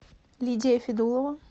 лидия федулова